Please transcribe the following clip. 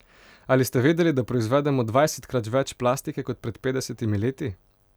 Ali ste vedeli, da proizvedemo dvajsetkrat več plastike kot pred petdesetimi leti?